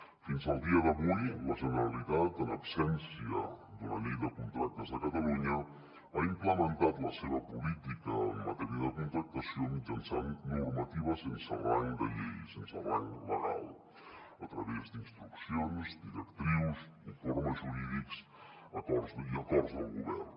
fins al dia d’avui la generalitat en absència d’una llei de contractes de catalunya ha implementat la seva política en matèria de contractació mitjançant normativa sense rang de llei sense rang legal a través d’instruccions directrius informes jurídics i acords del govern